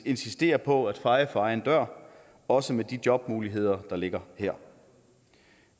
insistere på at feje for egen dør også med de jobmuligheder der ligger her